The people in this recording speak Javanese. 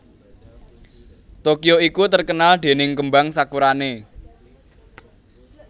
Tokyo iku terkenal dening kembang sakurane